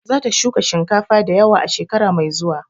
Za ta shuka shinkafa da yawa a shekara mai zuwa.